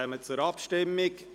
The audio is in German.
Wir kommen zur Abstimmung.